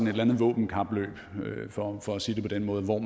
et eller andet våbenkapløb for for at sige det på den måde hvor